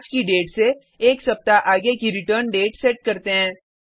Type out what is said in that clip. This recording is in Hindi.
हम आज की डेट से एक सप्ताह आगे की रिटर्न डेट सेट करते हैं